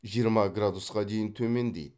жиырма градусқа дейін төмендейді